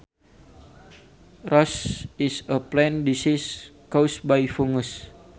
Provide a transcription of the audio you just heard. Rust is a plant disease caused by fungus